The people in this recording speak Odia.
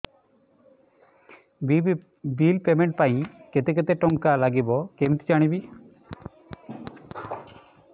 ବିଲ୍ ପେମେଣ୍ଟ ପାଇଁ କେତେ କେତେ ଟଙ୍କା ଲାଗିବ କେମିତି ଜାଣିବି